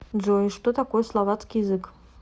джой что такое словацкий язык